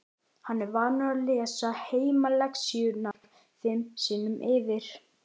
Hann er vanur að lesa heimalexíurnar fimm sinnum yfir.